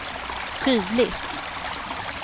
tydligt